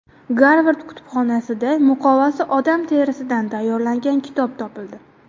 Garvard kutubxonasida muqovasi odam terisidan tayyorlangan kitob topildi.